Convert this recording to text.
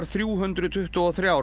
þrjú hundruð tuttugu og þrjú